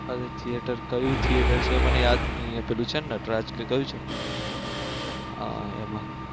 આ એક થીયેટર કયું થીયેટર છે મને યાદ નથી અહિયાં પેલું છેને નટરાજ કે કયું છે? હા એમાં